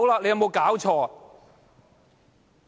有冇搞錯？